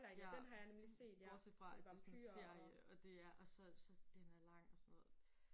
Ja bortset fra at det er sådan en serie og det er så så den er lang og sådan noget